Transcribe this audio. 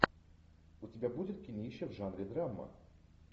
у тебя будет кинище в жанре драма